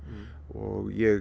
og ég